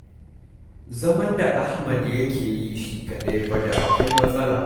Zaman da Ahmad ya ke yi shi kaɗai fa da akwai matsala.